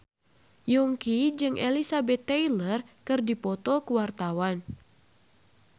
Yongki jeung Elizabeth Taylor keur dipoto ku wartawan